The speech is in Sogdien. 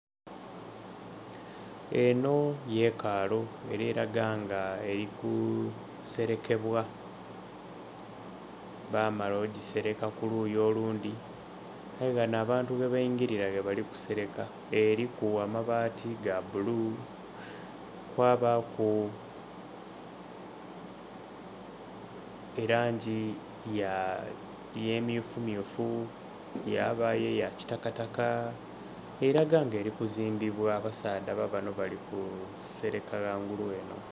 Enho yekaalu eri langa nga eri kuserekebwa, bamala ogisereka ku luuyi olundhi, aye nga ghanho abantu ghe baigirira ghalabali kusereka. Eriku amabaati ga bulu, kwabaku elangi ya emyufumyufu yabaayo eya kitakataka eraga nga eri kuzimbibwa abasaadha babanho bali ku sereka ghangulu enho.